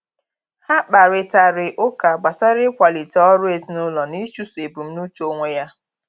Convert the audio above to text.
Ha kparịtari ụka gbasara ịkwalite ọrụ ezinụlọ na ịchụso ebumnuche onwe ya.